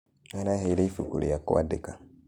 Araheĩre ĩbũkũ rĩa kũandĩka.